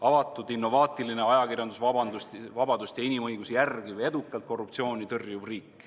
Avatud, innovaatiline, ajakirjandusvabadust ja inimõigusi järgiv, edukalt korruptsiooni tõrjuv riik.